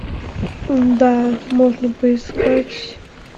да можно поискать